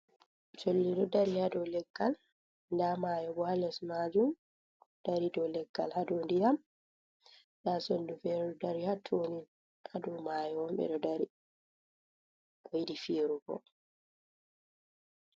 Cholli ɗo dari ha do leggal nda mayo bo ha les majum dari dow leggal ha dow ndiyam nda soldu fere ɗo dari ha to ni ha dow mayo ɓe ɗo dari bo yiɗi firugo.